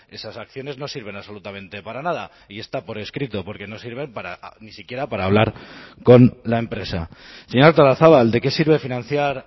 esas acciones no sirven absolutamente para nada y está por escrito porque no sirven ni siquiera para hablar con la empresa señora artolazabal de qué sirve financiar